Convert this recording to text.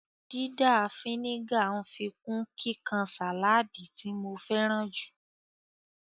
Dídà a fínígà ń fikún kíkan sáláádì tí mo féràn jù